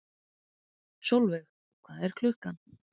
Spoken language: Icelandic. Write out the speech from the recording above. Solveig, hvað er klukkan?